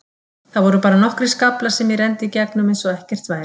Það voru bara nokkrir skaflar sem ég renndi í gegnum eins og ekkert væri.